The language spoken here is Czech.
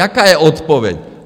Jaká je odpověď?